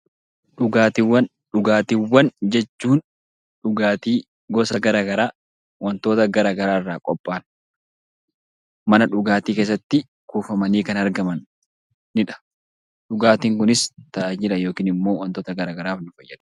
Dhugaatiiwwan jechuun dhugaatii gosa garaagaraa wantoota garaagaraa irraa qophaayan mana dhugaatii keessatti kuufamanii kan argamanidha. Dhugaatiin kunis tajaajila yookiin immoo wantoota garaagaraaf nu fayyada.